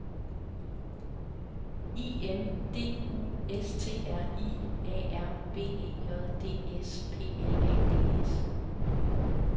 I N D U S T R I A R B E J D S P L A D S